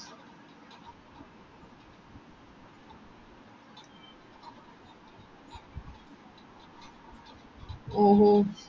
ഓഹോ